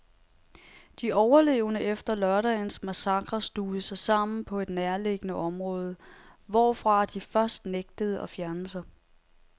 De overlevende efter lørdagens massakre stuvede sig sammen på et nærliggende område, hvorfra de først nægtede at fjerne sig.